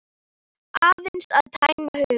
Aðeins að tæma hugann.